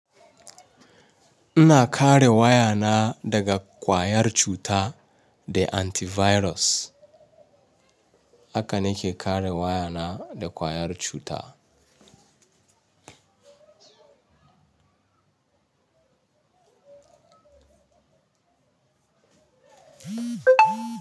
Ina kare wayata daga kwayar cuta da antivirus. Haka nake kare wayata da kwayar cuta.